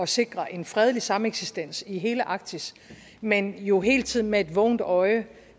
sikre en fredelig sameksistens i hele arktis men jo hele tiden med et vågent øje